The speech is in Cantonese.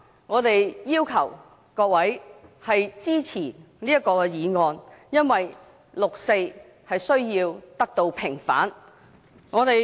我們要求各位議員支持這項議案，因為六四需要得到平反。